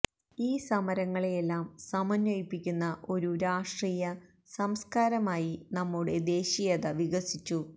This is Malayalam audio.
ഈ സമരങ്ങളെയെല്ലാം സമന്വയിപ്പിക്കുന്ന ഒരു രാഷ്ട്രീയ സംസ്കാരമായി നമ്മുടെ ദേശീയത വികസിച്ചു